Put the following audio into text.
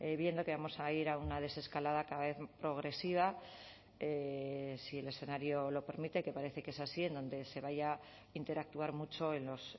viendo que vamos a ir a una desescalada cada vez progresiva si el escenario lo permite que parece que es así en donde se vaya a interactuar mucho en los